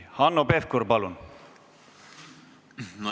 Hanno Pevkur, palun!